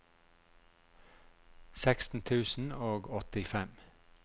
seksten tusen og åttifem